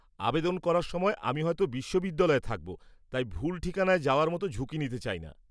আবেদন করার সময় আমি হয়তো বিশ্ববিদ্যালয়ে থাকব, তাই ভুল ঠিকানায় যাওয়ার মতো ঝুঁকি নিতে চাই না।